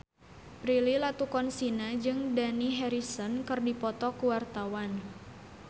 Prilly Latuconsina jeung Dani Harrison keur dipoto ku wartawan